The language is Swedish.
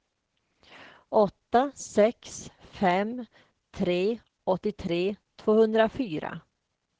åtta sex fem tre åttiotre tvåhundrafyra